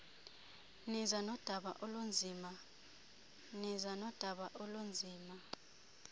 niza nodaba olunzima